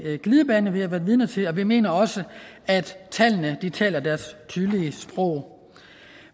glidebane som vi har været vidne til og vi mener også at tallene taler deres tydelige sprog